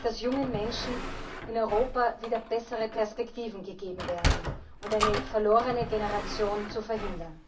dass jungen Menschen in Europa wieder bessere Perspektiven gegeben werden und eine verlorene Generation verhindert wird.